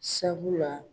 Sabula